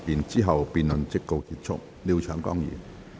之後辯論即告結束。